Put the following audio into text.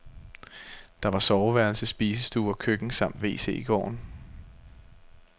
Der var soveværelse, spisestue og køkken samt wc i gården.